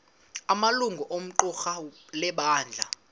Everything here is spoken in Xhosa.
amalungu equmrhu lebandla